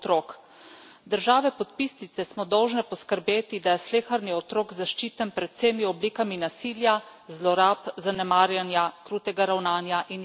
Države podpisnice smo dolžne poskrbeti, da je sleherni otrok zaščiten pred vsemi oblikami nasilja, zlorab, zanemarjanja, krutega ravnanja in izkoriščanja.